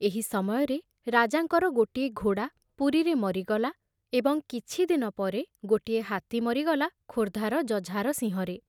ଏହି ସମୟରେ ରାଜାଙ୍କର ଗୋଟିଏ ଘୋଡ଼ା ପୁରୀରେ ମରିଗଲା ଏବଂ କିଛି ଦିନ ପରେ ଗୋଟିଏ ହାତୀ ମରିଗଲା ଖୋର୍ଦ୍ଧାର ଜଝାରସିଂହରେ।